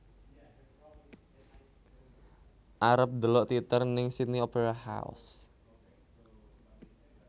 Arep ndelok teater ning Sydney Opera House